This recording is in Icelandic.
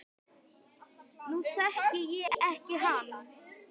Nú þekki ég ekki hann